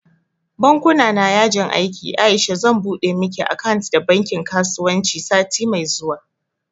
Bankuna na yajin aiki Aisha zan buɗe miki akant da bankin kasuwanci sati mai zuwa